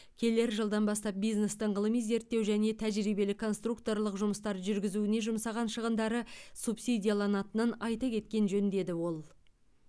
келер жылдан бастап бизнестің ғылыми зерттеу және тәжірибелік конструкторлық жұмыстар жүргізуге жұмсаған шығындары субсидияланатынын айта кеткен жөн деді ол